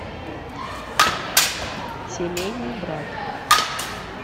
семейный брак